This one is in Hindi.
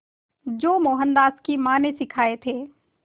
जो मोहनदास की मां ने सिखाए थे